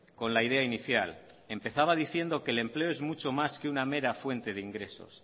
con la idea inicial empezaba diciendo que el empleo es mucho más que una mera fuente de ingresos